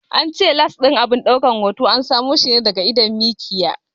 An ce lans ɗin abin daukan hoto an samo shi ne daga idon mikiya.